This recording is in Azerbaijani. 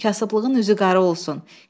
Kasıblığın üzü qara olsun.